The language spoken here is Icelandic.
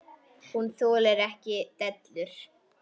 Hún þolir ekki dellur.